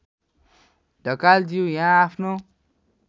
ढकालज्यू यहाँ आफ्नो